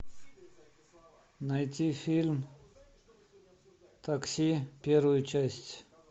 найти фильм такси первую часть